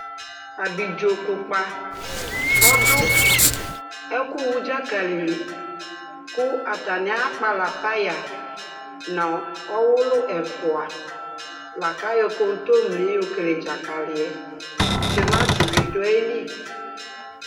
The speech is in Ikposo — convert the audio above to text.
Abɩdzokʋkpa ɔdʋ ɛkʋwʋdzakalɩ li, kʋ atanɩ akpala paya nʋ ɔwʋlʋ ɛfʋa, lakʋ ayɔ kotoŋble yokele dzakalɩ yɛ Timatɩ bɩ dʋ ayili